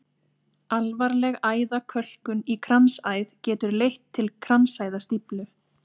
Alvarleg æðakölkun í kransæð getur leitt til kransæðastíflu.